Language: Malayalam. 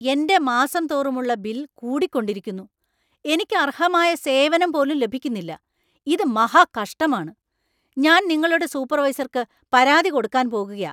എന്‍റെ മാസം തോറുമുള്ള ബിൽ കൂടിക്കൊണ്ടിരിക്കുന്നു., എനിക്ക് അർഹമായ സേവനം പോലും ലഭിക്കുന്നില്ല. ഇത് മഹാകഷ്ടമാണ്. ഞാൻ നിങ്ങളുടെ സൂപ്പർവൈസർക്ക് പരാതി കൊടുക്കാൻ പോകുകയാ .